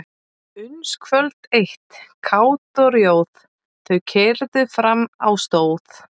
Uns kvöld eitt kát og rjóð þau keyrðu fram á stóð.